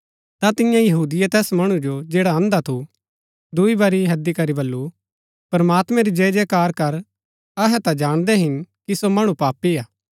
ता तियें यहूदिये तैस मणु जो जैडा अंधा थू दूई बरी हैदी करी बल्लू प्रमात्मैं री जयजयकार कर अहै ता जाणदै हिन कि सो मणु पापी हा